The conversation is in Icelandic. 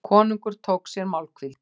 Konungur tók sér málhvíld.